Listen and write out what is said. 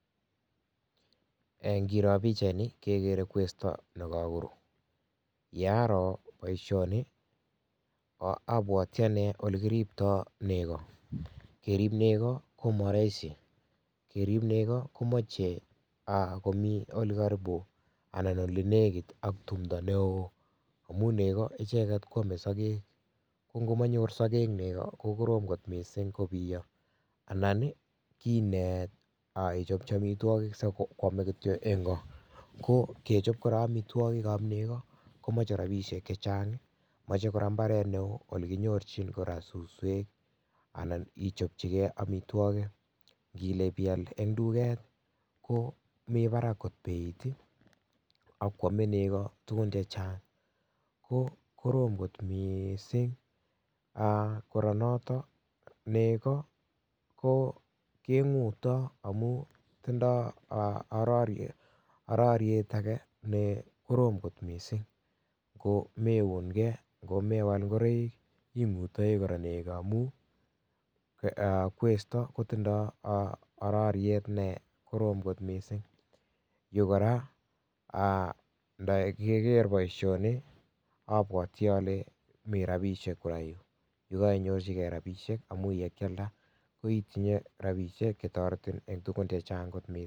Ngiroo pikchait nii kekere kwesto nekakoruu yaroo boishonii abwatchi anee ole kiriptoi nego kerib negoo komaraisi kerip nego komochei komii olelekit ak tumdo neoo amun nego icheket koamee sokek kongomanyor sokek nego kokorom kot mising kobiyo anan inet ichopchi omitwokik sikoomei kityo engko ko kechob kora omitwokik ab neko komochei rapishek chechang mochei kora mbaret neoo nekinyorchin kora suswek anan ichopchigei omitwokik ngile kopial eng tuket komii Barak kot bei akoomei nego tukun chechang ko korom kot mising kora noto nego keng'utoi amun tindoi araryet age nekorom kot mising ngomeungei, ngomewal ngoroik ing'utoi kora nego amun kwesto kotindoi araryet nekorom lot mising yu kora ndakiker boishonii abwatchi ale mi ropishek kora yu yekaiyorchigei rapishek amun yekialda itinye ropishek chetoretin eng tugun chechang